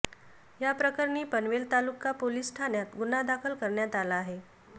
याप्रकरणी पनवेल तालुका पोलीस ठाण्यात गुन्हा दाखल करण्यात आला आहे